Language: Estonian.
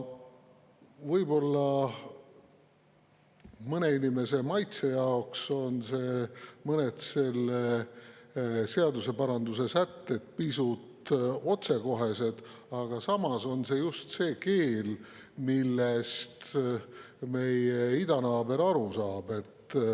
Võib-olla mõne inimese maitse jaoks on mõned selle seaduseparanduse sätted pisut otsekohesed, aga samas on see just see keel, millest meie idanaaber aru saab.